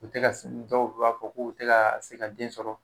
U tɛ ka dɔw u b'a fɔ k' u tɛ se ka den sɔrɔ